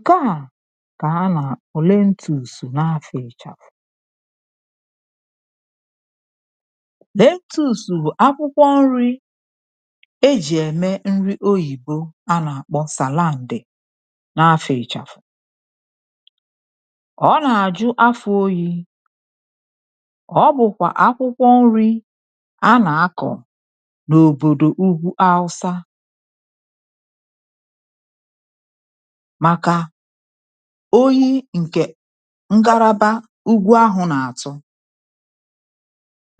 Ǹke à kà a nà-òlee ntù ùsò n’afọ̇ ịchàfụ̀. Lee ntù ùsò bụ̀ akwụkwọ nri̇ ejì ème nri oyìbo a nà-àkpọ salandị n’afọ̇ ịchàfụ̀. Ọ nà-àjụ afọ̇ oyi̇. Ọ bụ̀kwà akwụkwọ nri̇ a nà-akọ̀ n’òbòdò ugwu aụsȧ maka oyi ǹkè ngaraba ụgwọ ahụ̀ nà-àtọ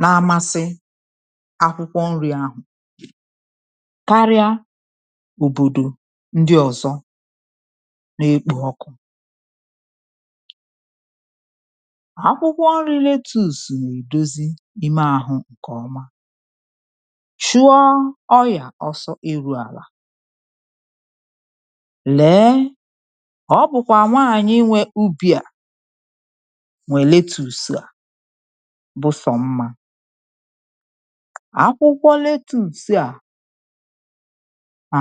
na-amasị akwụkwọ nri̇ ahụ̀, karịa òbòdò ndị ọ̀zọ na-ekpo ọkụ. Akwụkwọ nri lettuce nà-èdozi ime àhụ ǹkè ọma, chụọ ọrịà ọsọ ịrụ àlà. Lee! ọ bụ̀kwà nwaanyị̀ nwė ubì à nwè lettuce à, bụ̀sò mma. Akwụkwọ lettuce à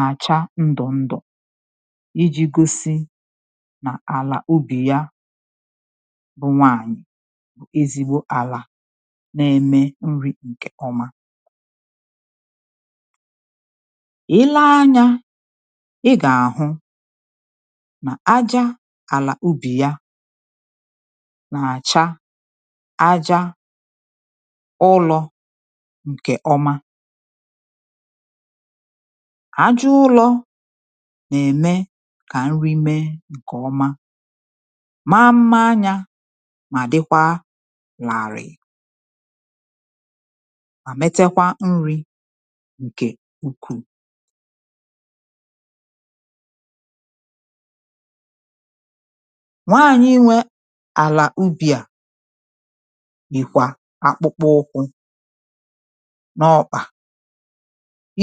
àcha ndụ̀ ndụ̀ iji̇ gosi nà àlà ubì ya bụ̀ nwaanyị̀ bụ̀ ezigbo àlà na-eme nri ǹkè ọma. I lee anya ị ga ahụ nà aja àlà ubì ya nà-àcha aja ụlọ̇ ǹkè ọma. Àja ụlọ̇ nà-ème kà nri mee ǹkè ọma, maa mmȧ anyȧ, mà dịkwa làalịị, ma metakwa nri̇ ǹkè ukwuù. Nwaànyị nwẹ àlà ubì à yìkwà akpụkpọ ụkwụ n’ọkpà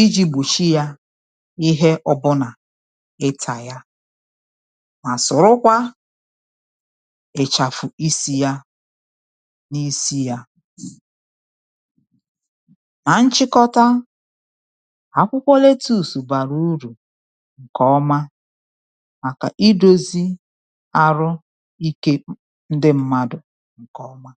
iji̇ gbòchi yȧ ihe ọ̀bụnà ịtà yȧ, mà sọ̀rọkwa ị̀chàfụ̀ isi̇ yȧ n’isi̇ yȧ. Nà nchịkọta, akwụkwọ lettuce bara uru nke ọma màkà idȯzi arụ ikė ndị mmadụ̀ ǹkè ọma.